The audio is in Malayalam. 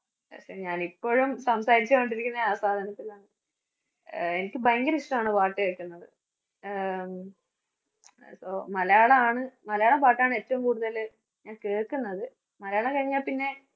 ഞാനിപ്പോഴും സംസാരിച്ചുകൊണ്ടിരിക്കുന്നെ ആ സാധനത്തിലാണ്. ആഹ് എനിക്ക് ഭയങ്കരിഷ്ട്ടാണ് പാട്ടു കേക്കുന്നത്. ആഹ് മലയാളാണ് മലയാളം പാട്ടാണ് ഏറ്റവും കൂടുതല് ഞാന്‍ കേക്കുന്നത്. മലയാളം കഴിഞ്ഞാ പിന്നെ